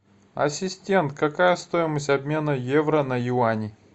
ассистент какая стоимость обмена евро на юани